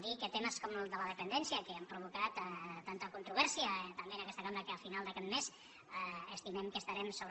dir que temes com el de la dependència que han provocat tanta controvèrsia també en aquesta cambra que al final d’aquest mes estimem que estarem sobre